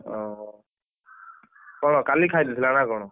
ଓହୋ କଣ? କାଲି ଖାଇଦେଇଥିଲା ନା କଣ?